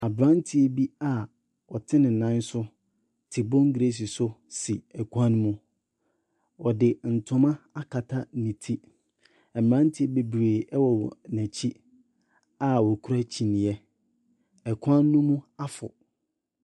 Aberanteɛ bi a ɔte ne nan so te bongreesi so si kwan mu. Ɔde ntoma akata ne ti. Mmeranteɛ bebree wowɔ n'akyi a wɔkura kyiniiɛ. Kwan no mu afɔ.